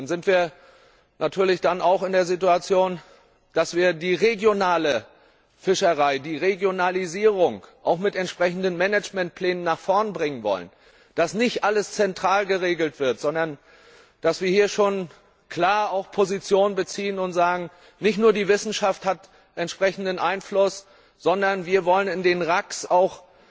Dann sind wir natürlich auch in der Situation, dass wir die regionale Fischerei, die Regionalisierung auch mit entsprechenden Managementplänen nach vorn bringen wollen, dass nicht alles zentral geregelt wird, sondern dass wir hier auch schon klar Position beziehen und sagen Nicht nur die Wissenschaft hat entsprechenden Einfluss, sondern wir wollen in den RAC auch